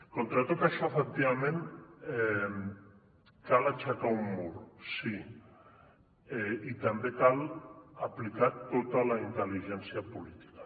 contra tot això efectivament cal aixecar un mur sí i també cal aplicar tota la intel·ligència política